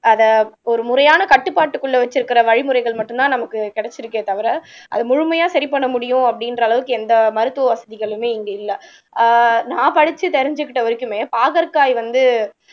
அத ஒரு முறையான கட்டுப்பாட்டுக்குள்ள வச்சிருக்கிற வழிமுறைகள் மட்டும்தான் நமக்கு கிடைச்சிருக்கே தவிர அது முழுமையா சரி பண்ண முடியும் அப்படின்ற அளவுக்கு எந்த மருத்துவ வசதிகளுமே இங்கே இல்ல ஆஹ் நான் படிச்சு தெரிஞ்சுக்கிட்ட வரைக்குமே பாகற்காய் வந்து